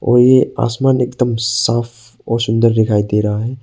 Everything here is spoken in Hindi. और आसमान एकदम साफ और सुंदर दिखाई दे रहा है।